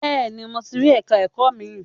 Bẹ́ẹ̀ni mo ti rí ẹ̀ka ẹ̀kọ́ mi.